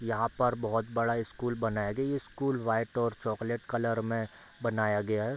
यहाँ पर बहुत बड़ा स्कूल बनया गया है ये स्कूल व्हाइट और चॉक्लेट कलर में बनाया गया है।